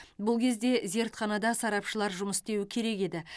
бұл кезде зертханада сарапшылар жұмыс істеуі керек еді